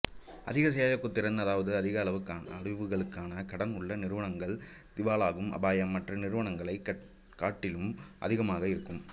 அதிக செயலூக்கத்திறன் அதாவது அதிக அளவுகளுக்கான கடன் உள்ள நிறுவனங்களுக்கு திவாலாகும் அபாயம் மற்ற நிறுவனங்களைக் காட்டிலும் அதிகமாக இருக்கும்